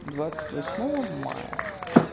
двадцать восьмого мая